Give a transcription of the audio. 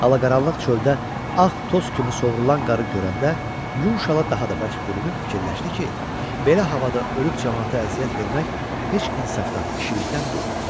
Ala-qaranlıq çöldə ağ toz kimi sovrulan qarı görəndə yun şala daha da bərk bürünüb fikirləşdi ki, belə havada ölüb camaata əziyyət vermək heç insafdan, kişilkdən deyil.